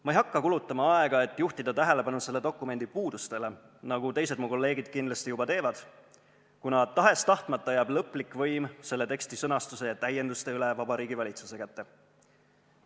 Ma ei hakka kulutama aega, et juhtida tähelepanu selle dokumendi puudustele, nagu teised mu kolleegid kindlasti juba teevad, kuna tahes-tahtmata jääb lõplik võim selle teksti sõnastuse ja täienduste üle Vabariigi Valitsuse kätte.